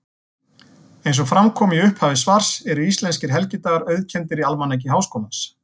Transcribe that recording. Eins og fram kom í upphafi svars eru íslenskir helgidagar auðkenndir í Almanaki Háskólans.